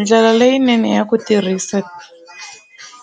Ndlela leyinene ya ku tirhisa